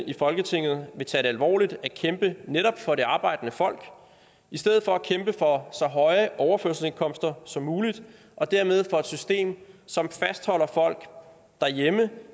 i folketinget vil tage det alvorligt at kæmpe netop for det arbejdende folk i stedet for at kæmpe for så høje overførselsindkomster som muligt og dermed for et system som fastholder folk derhjemme